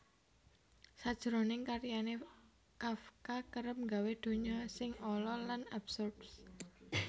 Sajroning karyané Kafka kerep nggawé donya sing ala lan absurd